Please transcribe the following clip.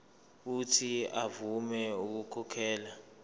uuthi avume ukukhokhela